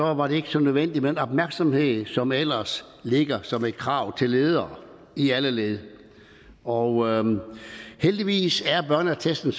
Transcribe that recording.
var det ikke så nødvendigt med den opmærksomhed som ellers ligger som et krav til ledere i alle led og heldigvis er børneattesten